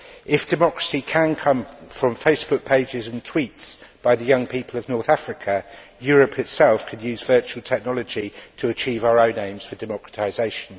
If democracy can come from Facebook pages and tweets by the young people of North Africa, Europe itself could use virtual technology to achieve our own aims for democratisation.